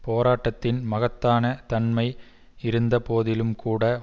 போராட்டத்தின் மகத்தான தன்மை இருந்த போதிலும் கூட